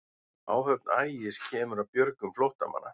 Áhöfn Ægis kemur að björgun flóttamanna